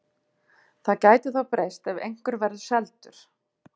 Það gæti þó breyst ef einhver verður seldur.